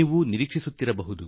ನೀವು ಸಹ ಇಡುವಿರಿ